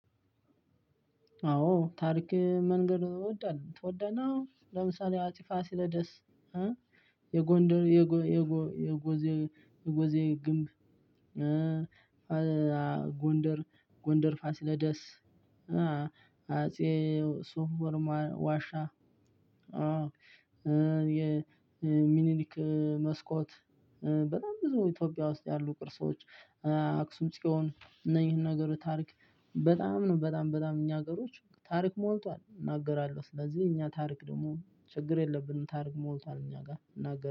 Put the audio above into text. አዎ ታሪክ መንገር ነው የምትወደነው ለምሳሌ አፄ ፋሲለደስ የጎንደር የጎዜ የጎዜ ግንብ። ጎንደር ጎንደር ፋስለደስ አጼ ሶፍ ኡመር ዋሻ። የሚኒሊክ መስኮት በጣም ብዙ ኢትዮጵያ ውስጥ አሉ ቅርሶች። አክሱም ጽዮን እነዚህን ነገሮች ታሪክ በጣም ነው በጣም በጣም እኛ ሀገሮች ታሪክ ሞልቷል እናገራለሁ። ስለዚህ እኛ ታሪክ ደግሞ ችግር የለብንም ታሪክ ሞልቷል እኛ ጋር እናገር